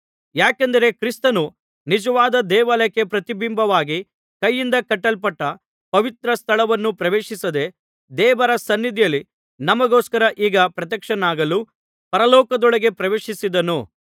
ಯಾಕೆಂದರೆ ಕ್ರಿಸ್ತನು ನಿಜವಾದ ದೇವಾಲಯಕ್ಕೆ ಪ್ರತಿಬಿಂಬವಾಗಿ ಕೈಯಿಂದ ಕಟ್ಟಲ್ಪಟ್ಟ ಪವಿತ್ರ ಸ್ಥಳವನ್ನು ಪ್ರವೇಶಿಸದೆ ದೇವರ ಸನ್ನಿಧಿಯಲ್ಲಿ ನಮಗೋಸ್ಕರ ಈಗ ಪ್ರತ್ಯಕ್ಷನಾಗಲು ಪರಲೋಕದೊಳಗೆ ಪ್ರವೇಶಿಸಿದನು